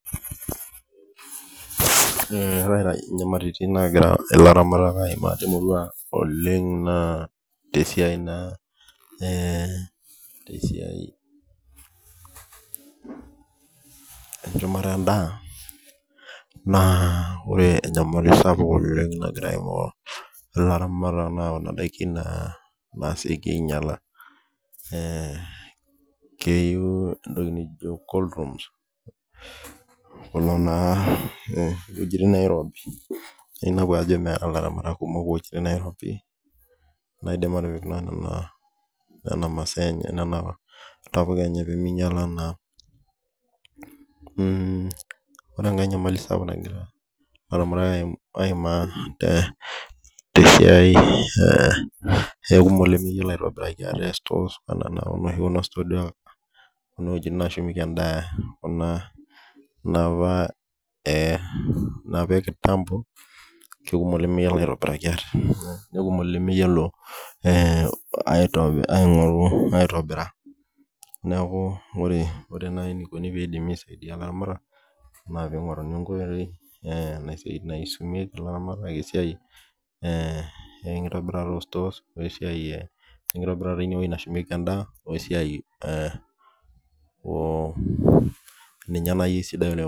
ore inyamalaritin naagira ilaramatak aimaa tenkishumata endaa naa kuna daikin naasioki ainyala amuu keyiou iwejitin nairobu aa taa cold rooms nemeeta ilaramatak kumook iwuejitin nairobi nashumie naa endaa enye ore enkae naa ikumook ilemeyiolo aitobiraki ate sitooni ore enkoiti sidai nasaiidie naa piisumi enikoni tenitobori sitoo nashumieki endaa peeminyala naa